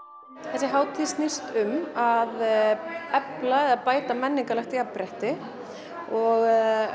þessi hátíð snýst um að efla eða bæta menningarlegt jafnrétti og